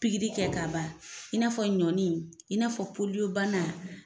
Pikiri kɛ ka ban, in n'a fɔ ɲɔni in n'a fɔ bana.